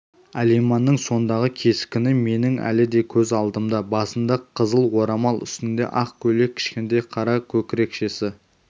алиманның сондағы кескіні менің әлі көз алдымда басында қызыл орамал үстінде ақ көйлек кішкентай қара көкірекшесі